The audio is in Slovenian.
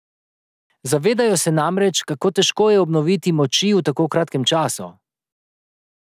Zavedajo se namreč, kako težko je obnoviti moči v tako kratkem času.